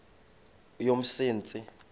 yomsintsi